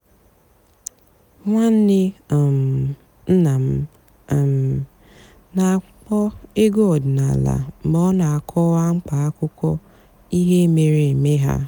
ǹwànnè um nná m um nà-àkpọ́ ègwú ọ̀dị́náàlà mg̀bé ọ́ nà-àkọ́wá m̀kpà àkụ́kọ̀ íhé mèéré èmé há.